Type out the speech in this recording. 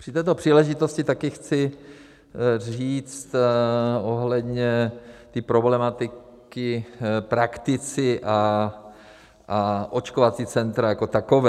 Při této příležitosti také chci říct ohledně té problematiky - praktici a očkovací centra jako taková.